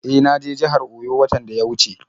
E, na je jihar Oyo watan da ya wuce.